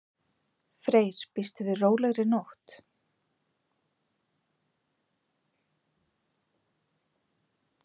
Freyr: Býstu við rólegri nótt?